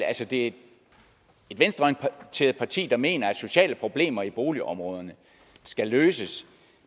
at et venstreorienteret parti der mener at sociale problemer i boligområderne skal løses